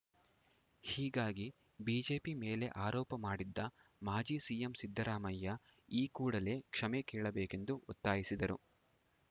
ಹೀಗಾಗಿ ಬಿಜೆಪಿ ಮೇಲೆ ಆರೋಪ ಮಾಡಿದ್ದ ಮಾಜಿ ಸಿಎಂ ಸಿದ್ದರಾಮಯ್ಯ ಈ ಕೂಡಲೇ ಕ್ಷಮೆ ಕೇಳಬೇಕೆಂದು ಒತ್ತಾಯಿಸಿದರು